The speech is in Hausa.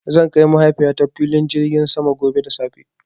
Zan kai Mahaifiyata filin jirgin sama gobe da safe.